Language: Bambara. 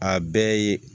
A bɛɛ ye